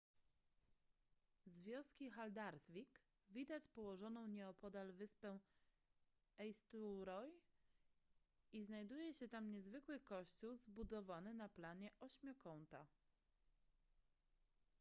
z wioski haldarsvík widać położoną nieopodal wyspę eysturoy i znajduje się tam niezwykły kościół zbudowany na planie ośmiokąta